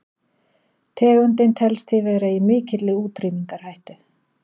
tegundin telst því vera í mikilli útrýmingarhættu